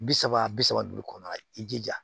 Bi saba bi saba duuru kɔnɔ i jija